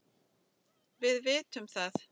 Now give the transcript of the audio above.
Við vitum að